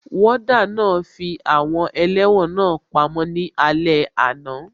Wọ́ọ́dà náà fi àwọn ẹlẹ́wọ̀n náà pamọ́ ní alé àná